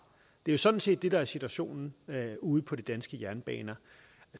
det er sådan set det der er situationen ude på de danske jernbaner